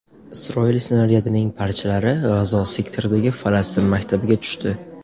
Isroil snaryadining parchalari G‘azo sektoridagi falastin maktabiga tushdi.